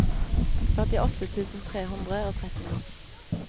førtiåtte tusen tre hundre og trettini